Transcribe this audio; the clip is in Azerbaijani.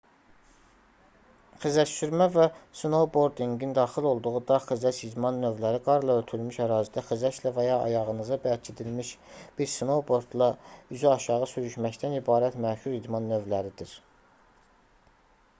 xizəksürmə və snoubordinqin daxil olduğu dağ-xizək idman növləri qarla örtülmüş ərazidə xizəklə və ya ayağınıza bərkidilimiş bir snoubordla üzü aşağı sürüşməkdən ibarət məşhur idman növləridir